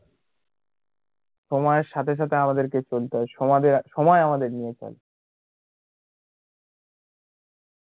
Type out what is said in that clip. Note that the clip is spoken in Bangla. সোময় সাথে সাথে আমাদেরকে চলতে হয়, সমাজের, সময় আমাদের নিয়ে চলে